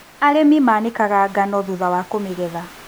Arĩmi manĩkaga ngano thutha wa kũmĩgetha.